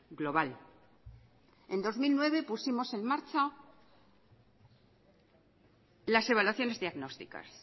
global en dos mil nueve pusimos en marcha las evaluaciones diagnósticas